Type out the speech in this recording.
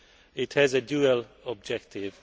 It has a dual objective.